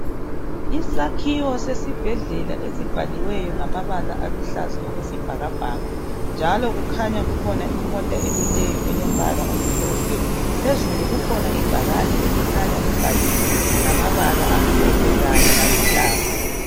isakhiwo sesibhedlela esibhaliweyo ngamabala aluhlaza okwesibhakabhaka njalo kukhanya kukhona imota emileyo emhlophe phezulu kukhona ibhakane elikhanya libhaliwe ngamabala amhlophe kanye laluhlaza